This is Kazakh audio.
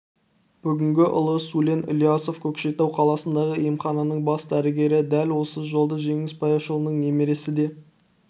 бүгін ұлы сулен ілиясов көкшетау қаласындағы емхананың бас дәрігері дәл осы жолды жеңіс баяшұлының немересі де